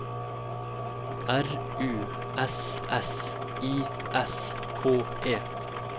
R U S S I S K E